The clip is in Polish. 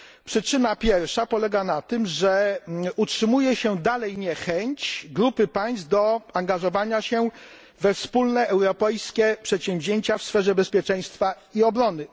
Przyczyna pierwsza polega na tym, że utrzymuje się dalej niechęć grupy państw do angażowania się we wspólne europejskie przedsięwzięcia w sferze bezpieczeństwa i obrony.